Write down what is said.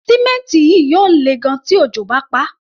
Símẹ́ǹtì yìí yóò lè gan-an tí òjò bá paá.